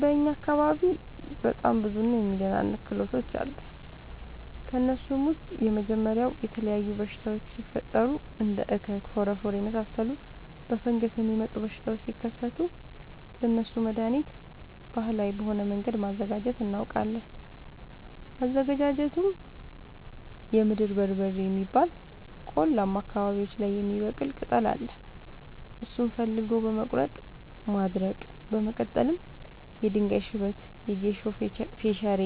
በእኛ አካባቢ በጣም ብዙ እና የሚደናንቅ ክህሎቶች አሉ። ከእነሱም ውስጥ የመጀመሪያው የተለያዩ በሽታወች ሲፈጠሪ እንደ እከክ ፎረፎር የመሳሰሉ በፈንገስ የሚመጡ በሽታዎች ሲከሰቱ ለእነሱ መደሀኒት ባህላዊ በሆነ መንገድ ማዘጋጀት እናውቃለን። አዘገጃጀቱመሸ የምድር በርበሬ የሚባል ቆላማ አካባቢዎች ላይ የሚበቅል ቅጠል አለ እሱን ፈልጎ በመቀለረጥ ማድረቅ በመቀጠልም የድንጋይ ሽበት የጌሾ ፈሸሬ